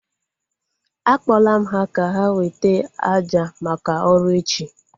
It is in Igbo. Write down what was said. A kpọla m ha ka ha weta àjà maka ọrụ echi